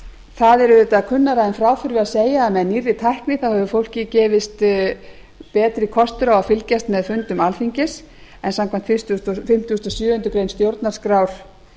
það er auðvitað kunnara en frá þurfi að segja að með nýrri tækni hefur fólki gefist betri kostur á að fylgjast með fundum alþingis en samkvæmt fimmtugustu og sjöundu grein stjórnarskrár